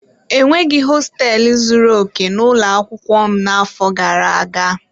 E nweghị hosteelu zuru okè n'ụlọ akwụkwọ m n'afọ gara aga.